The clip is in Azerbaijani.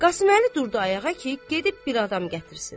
Qasıməli durdu ayağa ki, gedib bir adam gətirsin.